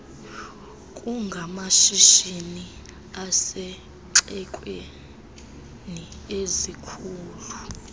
kungamashishini asezixekweni ezikhulu